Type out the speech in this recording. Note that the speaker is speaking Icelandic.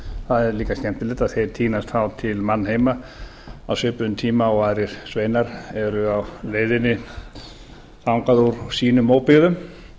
það er líka skemmtilegt að þeir tínast þá til mannheima á svipuðum tíma og aðrir sveinar eru á leiðinni þangað úr sínum óbyggðum